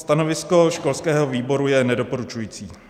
Stanovisko školského výboru je nedoporučující.